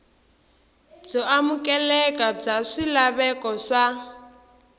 byo amukeleka bya swilaveko swa